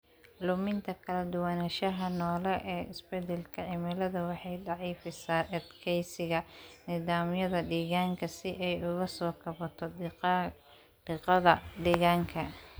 Luminta kala duwanaanshaha noole ee isbedelka cimiladu waxay daciifisaa adkeysiga nidaamyada deegaanka si ay uga soo kabato diiqada deegaanka.